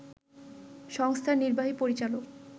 সংস্থার নির্বাহী পরিচালক